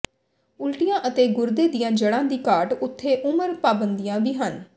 ਉਲਟੀਆਂ ਅਤੇ ਗੁਰਦੇ ਦੀਆਂ ਜੜ੍ਹਾਂ ਦੀ ਘਾਟ ਉੱਥੇ ਉਮਰ ਪਾਬੰਦੀਆਂ ਵੀ ਹਨ